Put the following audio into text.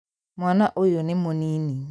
Mwana ũyũ nĩ mũnini